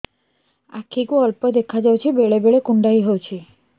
ଆଖି କୁ ଅଳ୍ପ ଦେଖା ଯାଉଛି ବେଳେ ବେଳେ କୁଣ୍ଡାଇ ହଉଛି